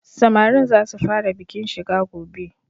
Samarin za su fara bikin shiga gobe.